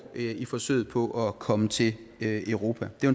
i forsøget på at komme til europa det er